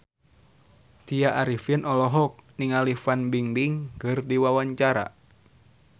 Tya Arifin olohok ningali Fan Bingbing keur diwawancara